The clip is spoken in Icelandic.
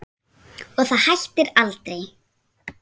Og það hættir aldrei.